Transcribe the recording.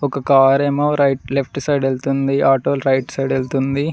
ఒక కారు ఏమో right left side వెళ్తుంది ఆటోలు రైట్ సైడ్ వెళ్తుంది.